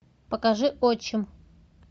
покажи отчим